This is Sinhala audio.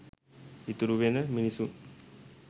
ඉතුරුවෙන මිනිසුන්